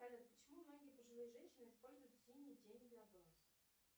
салют почему многие пожилые женщины используют синие тени для глаз